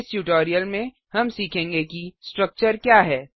इस ट्यूटोरियल में हम सीखेंगे कि स्ट्रक्चर क्या है